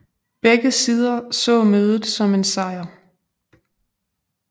Begge sider så mødet som en sejr